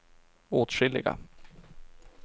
åtskilliga